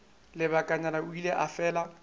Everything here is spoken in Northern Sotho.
lebakanyana o ile a fela